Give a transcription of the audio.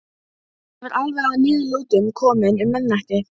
Ég var alveg að niðurlotum kominn um miðnætti.